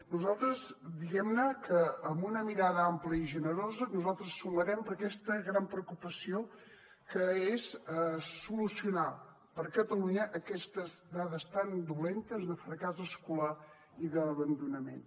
nosaltres diguem que amb una mirada ampla i generosa sumarem per aquesta gran preocupació que és solucionar per a catalunya aquestes dades tan dolentes de fracàs escolar i d’abandonament